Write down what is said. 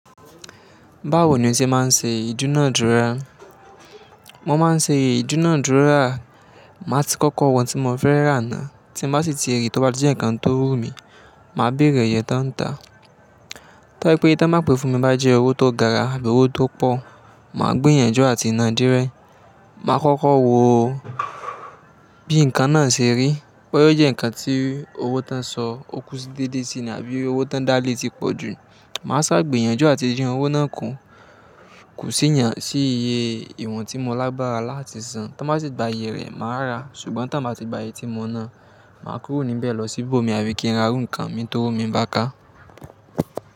Báwo ni ó ṣe máa ń ṣe ìdúnadúrà? Mo máa ń ṣe ìdúnadúrà, màá ti kọ́kọ́ mo ohun tí mo fẹ́ rà ná, tí mo bá sì ti ríi tó bá jẹ́ ǹkan tó wú mi, màá bèrè ìyẹ́ tánńtà. To ba jé pé iye tí wọ́n bá pè fún mi bá jẹ́ owó tó gara àbí owó tó pọ̀, màá gb'ìyànjú àti ná dí é. Màá kọ́kọ́ wo bí ǹkan náà ṣe rí, boya ó jẹ ǹkan tí owó tán sọ, ó kú sí dede síi àbí owó tán dálé ti pọ̀ jù. Màá ṣà gbiyànjú àti din owó náà kù, kù sí iiye ìwọ̀n tí mo lágbára láti san. Tí wọ́n bá sì gba iyè rẹ̀, màá rà, ṣùgbọ́n tí wọ́n bá ti gba iyè tí mo ná, màá kúrò níbẹ̀ lọ síbò mi àbí kí n ra ǹkan mi tó wò mí bá ká.